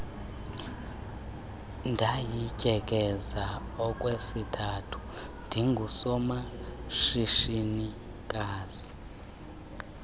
ndayityekeza okwesithathu ndingusomashishinikazi